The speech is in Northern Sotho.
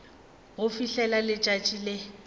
go fihlela ge letšatši le